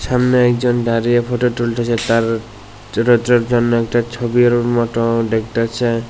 সামনে একজন দাঁড়িয়ে ফটো তুলতেছে তার জন্য একটা ছবির মত দেখতাছে।